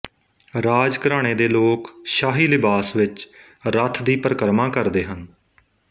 ਰਾਜ ਘਰਾਣੇ ਦੇ ਲੋਕ ਸ਼ਾਹੀ ਲਿਬਾਸ ਵਿੱਚ ਰੱਥ ਦੀ ਪਰਿਕਰਮਾ ਕਰਦੇ ਹਨ